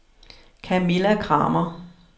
Kamilla Kramer